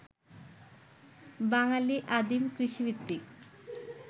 বাঙালী আদিম কৃষিভিত্তিক